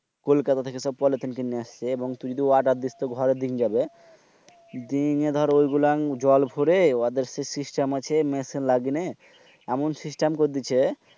কলকাতা থেকে সব পলিথিন কিনে এসে তুই যদি order দিস তুর ঘরে এনে দিন যাবে দিনে এসে ঐগুলাং জল বরে ওদের সেই system আছে মেশিন লাগিনে। এমন system করন দিছে।